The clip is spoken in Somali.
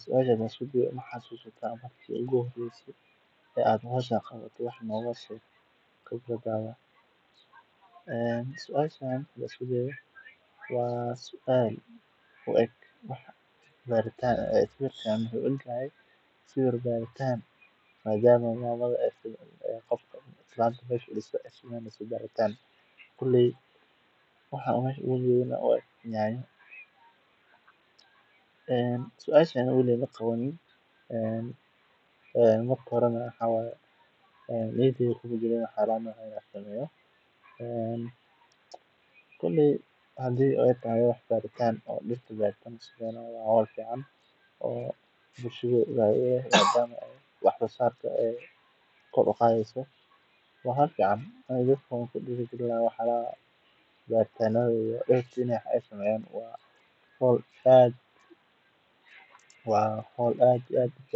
Suashan hadaan isku dayo maxa suata marki ugu horeyse aad qabato howshan waa baritaan waxa aan ujeedno waa nyanya weligeey maqabanin maskaxdeyda kuma jirin waa howl fican madama aay wax soo saarka kor uqadeyso waa in dadaka lagu diiri